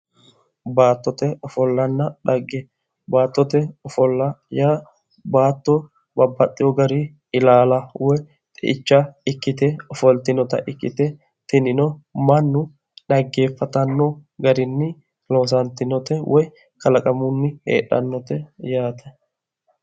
Baattote ofollanna xagge. baattote ofolla yaa baatto babbaxxewo grinni ilaala woyi xeicha ikkite ofoltinota ikkite tinino mannu dhaggeeffatanno garinni loosantinote woyi kalaqamunni heedhannote yaate.